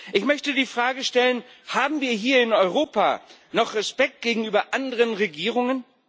Ich möchte die Frage stellen Haben wir hier in Europa noch Respekt gegenüber anderen Regierungen?